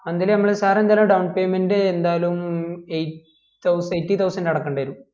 monthly നമ്മൾ sir എന്തായാലും down payment എന്തായാലും eight thousand eighty thousand അടയ്കണ്ടിവരും